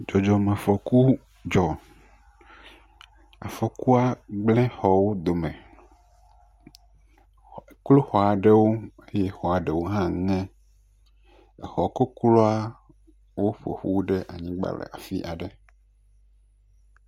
Dzɔdzɔmefɔkuwo dzɔ. Afɔkua gblẽ xɔwo dome. Eklo xɔa ɖewo eye xɔa ɖewo hã ŋe. Exɔkokloawo ƒo ƒu ɖe anyigba le afi aɖe.